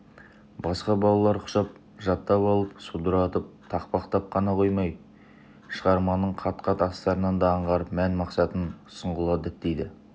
басқа балалар құсап жаттап алып судыратып тақпақтап қана қоймайды шығарманың қат-қат астарын да аңғарып мән-мақсатын сұңғыла діттейді